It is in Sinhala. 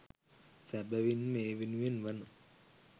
සැබැවින්ම ඒ වෙනුවෙන් වන